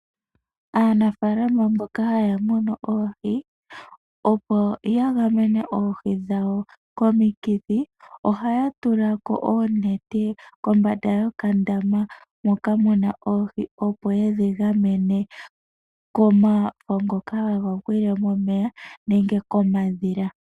Aanafalama mboka haya munu oohi opo ya gamene oohi dhawo komikithi , oha ya tulako oonete kombanda yokandama moka mu na oohi opo yedhi gamene komafo ngoka haga gwile momeya nenge komadhila.